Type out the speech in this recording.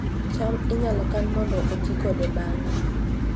cham inyalo kan mondo oti kode bang'e